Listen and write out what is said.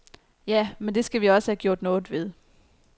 Ja, men det skal vi også have gjort noget ved.